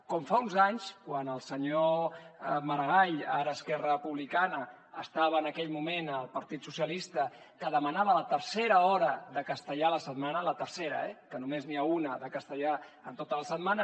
com fa uns anys quan el senyor maragall ara a esquerra republicana estava en aquell moment al partit socialista que demanava la tercera hora de castellà a la setmana la tercera eh que només n’hi ha una de castellà en tota la setmana